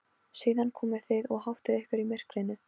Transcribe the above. Síðan komið þið og háttið ykkur í myrkrinu.